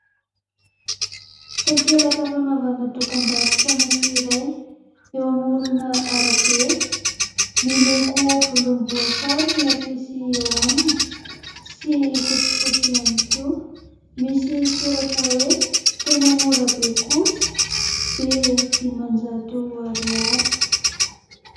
Takelaka fanaovana dokam-barotra anakiray eo amoron'arabe. Miloko volomboasary ny afisy eo aminy, sy fotsifotsy ihany koa; misy soratra hoe: "tena mora be kosa, be dimanjato ariary".